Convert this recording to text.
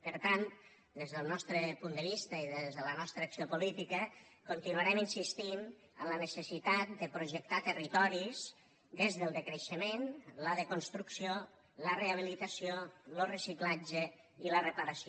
per tant des del nostre punt de vista i des de la nostra acció política continuarem insistint en la necessitat de projectar territoris des del decreixement la desconstrucció la rehabilitació lo reciclatge i la reparació